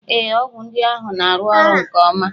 Ee, ọgwụ ndị ahụ na-arụ ọrụ nke ọma.